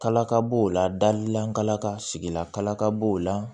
Kalakaw la dalilaka sigila kalakab'o la